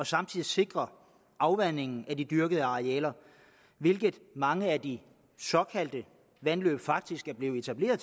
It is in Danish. samtidig sikrer afvandingen af de dyrkede arealer hvilket mange af de såkaldte vandløb faktisk er blevet etableret